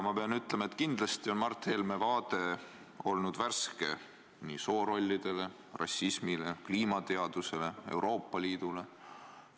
Ma pean ütlema, et kindlasti on Mart Helme vaade nii soorollidele, rassismile, kliimateadusele kui ka Euroopa Liidule värske olnud.